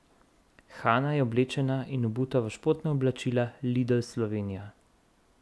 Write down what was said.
Hana je oblečena in obuta v športna oblačila Lidl Slovenija.